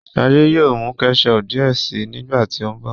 shade yóò mú ketchup diẹ síi nígbàtí o nbọ